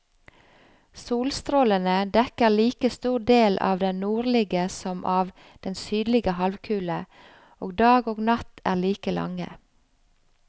Solstrålene dekker like stor del av den nordlige som av den sydlige halvkule, og dag og natt er like lange.